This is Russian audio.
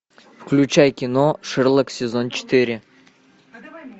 включай кино шерлок сезон четыре